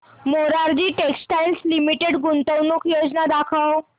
Morarji Textiles Limited गुंतवणूक योजना दाखव